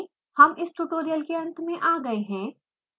हम इस ट्यूटोरियल के अंत में आ गए हैं